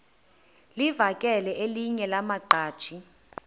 livakele elinye lamaqhaji